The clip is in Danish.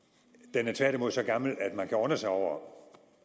den er tværtimod så gammel at man kan undre sig over